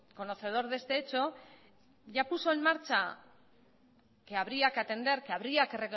conocedor de este hecho ya puso en marcha que habría que atender que habría que